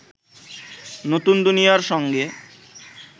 নতুন দুনিয়ার সঙ্গে